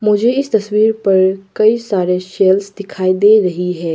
मुझे इस तस्वीर पर कई सारे शेलफ दिखाई दे रही है।